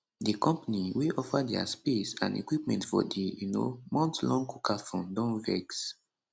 di company wey offer dia space and equipment for di um monthlong cookathon don vex